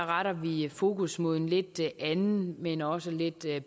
retter vi fokus mod en lidt anden men også lidt